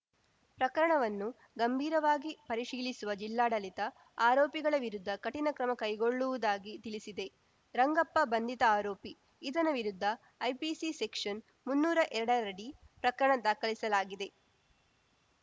ಪ್ರಕರಣವನ್ನು ಗಂಭೀರವಾಗಿ ಪರಿಶೀಲಿಸುವ ಜಿಲ್ಲಾಡಳಿತ ಆರೋಪಿಗಳ ವಿರುದ್ಧ ಕಠಿಣ ಕ್ರಮ ಕೈಗೊಳ್ಳುವುದಾಗಿ ತಿಳಿಸಿದೆ ರಂಗಪ್ಪ ಬಂಧಿತ ಆರೋಪಿ ಈತನ ವಿರುದ್ಧ ಐಪಿಸಿ ಸೆಕ್ಷನ್‌ ಮುನ್ನೂರ ಎರಡ ರಡಿ ಪ್ರಕರಣ ದಾಖಲಿಸಲಾಗಿದೆ